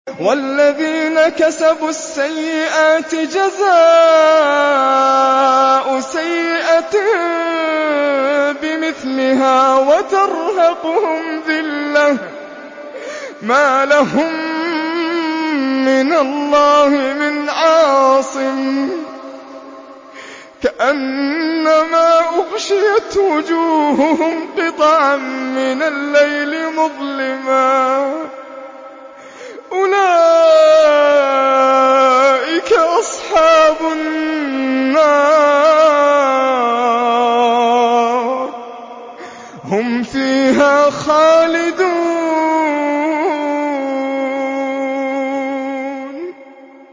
وَالَّذِينَ كَسَبُوا السَّيِّئَاتِ جَزَاءُ سَيِّئَةٍ بِمِثْلِهَا وَتَرْهَقُهُمْ ذِلَّةٌ ۖ مَّا لَهُم مِّنَ اللَّهِ مِنْ عَاصِمٍ ۖ كَأَنَّمَا أُغْشِيَتْ وُجُوهُهُمْ قِطَعًا مِّنَ اللَّيْلِ مُظْلِمًا ۚ أُولَٰئِكَ أَصْحَابُ النَّارِ ۖ هُمْ فِيهَا خَالِدُونَ